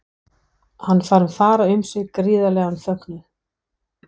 Hann fann fara um sig gríðarlegan fögnuð.